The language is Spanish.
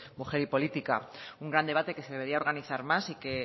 mujer y política un gran debate que se debería organizar más y que